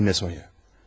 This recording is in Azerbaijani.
Demə Sonıya.